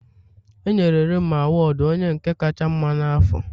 E yenre Rema awudu onye nke kacha mma n'afọ.